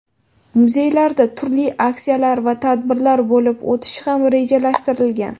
Muzeylarda turli aksiyalar va tadbirlar bo‘lib o‘tishi ham rejalashtirilgan.